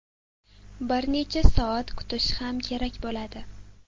Bir necha soat kutish ham kerak bo‘ladi.